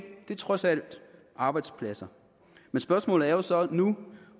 det er trods alt arbejdspladser spørgsmålet er så nu